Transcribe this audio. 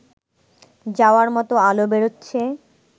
যাওয়ার মতো আলো বেরোচ্ছে